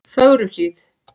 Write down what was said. Fögruhlíð